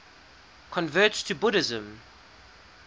converts to buddhism